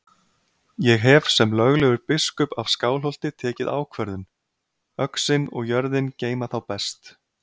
Ég hef sem löglegur biskup af Skálholti tekið ákvörðun: Öxin og jörðin geyma þá best.